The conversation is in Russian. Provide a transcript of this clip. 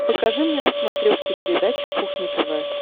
покажи мне на смотрешке передачу кухня тв